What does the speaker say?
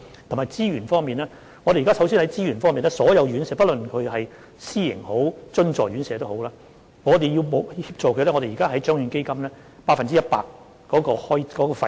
還有資源方面，我們首先向所有院舍，不論是私營或津助，提供協助，由獎券基金承擔百分之一百的費用。